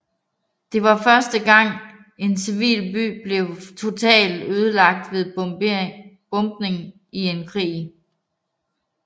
Det var første gang en civil by blev totalt ødelagt ved bombning i en krig